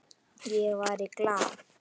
Ég var í Glað.